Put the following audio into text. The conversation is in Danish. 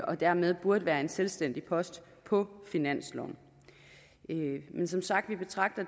og dermed burde være en selvstændig post på finansloven men som sagt betragter